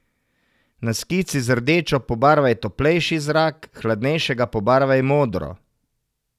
Na skici z rdečo pobarvaj toplejši zrak, hladnejšega pobarvaj modro.